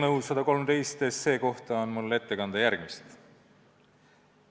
Eelnõu 113 kohta on mul ette kanda järgmist.